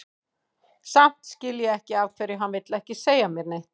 Samt skil ég ekki af hverju hann vill ekki segja mér neitt.